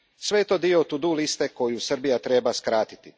Sve je to dio to do liste koju Srbija treba skratiti.